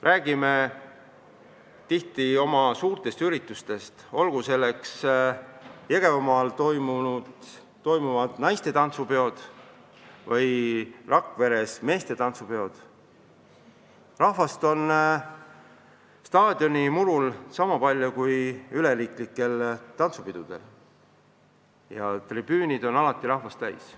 Räägime tihti oma suurtest üritustest, olgu nendeks Jõgevamaal toimuvad naiste tantsupeod või Rakveres toimuvad meeste tantsupeod, kus inimesi on staadionimurul sama palju kui üleriigilistel tantsupidudel ja tribüünid on rahvast täis.